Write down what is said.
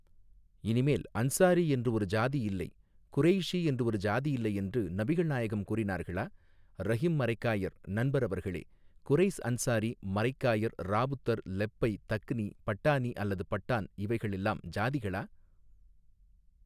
இனிமேல் அன்சாரி என்று ஒரு ஜாதி இல்லை குரேய்ஷி என்று ஒரு ஜாதி இல்லை என்று நபிகள் நாயகம் கூறினார்களா ரஹிம் மரைக்காயர் நண்பர் அவர்களே குரைஸ் அன்சாரி மரைக்காயர் ராவுத்தர் லெப்பை தக்னி பட்டானி அல்லது பட்டான் இவைகள் எல்லாம் ஜாதிகளா.